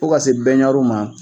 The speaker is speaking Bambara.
Fo ka se bɛnɲariw ma.